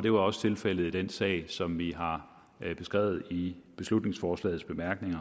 det var også tilfældet i den sag som vi har beskrevet i beslutningsforslagets bemærkninger